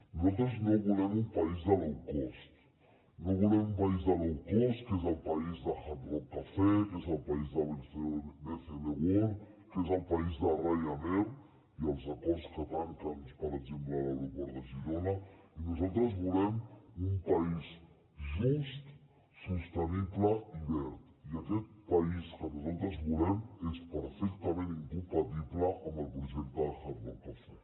nosaltres no volem un país de low cost no volem un país de low cost que és el país de hard rock cafe que és el país de bcn world que és el país de ryanair i els acords que tanquen per exemple l’aeroport de girona nosaltres volem un país just sostenible i verd i aquest país que nosaltres volem és perfectament incompatible amb el projecte de hard rock cafe